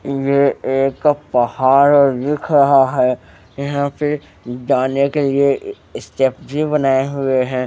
ये एक पहाड़ दिख रहा है यहां पे जाने के लिए स्टेप भी बनाए हुए हैं।